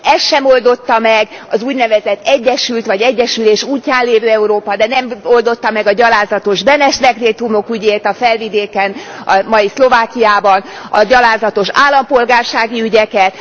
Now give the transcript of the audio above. Ezt sem oldotta meg az úgynevezett egyesült vagy egyesülés útján lévő Európa, de nem oldotta meg a gyalázatos Benes dekrétumok ügyét sem a Felvidéken, a mai Szlovákiában. A gyalázatos állampolgársági ügyeket.